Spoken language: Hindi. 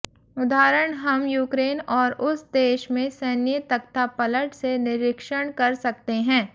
उदाहरण हम यूक्रेन और उस देश में सैन्य तख्तापलट से निरीक्षण कर सकते हैं